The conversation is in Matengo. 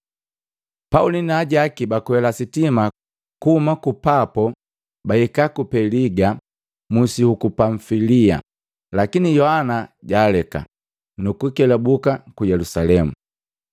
Pauli naajaki bakwela sitima kuhuma ku Papo bahika ku Peliga musi huku Pamfilia, lakini Yohana jaaleka, nuku kelabuka ku Yelusalemu.